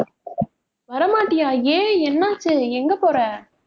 வர மாட்டியா ஏன் என்னாச்சு எங்க போற